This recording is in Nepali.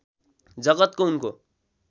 जगतको उनको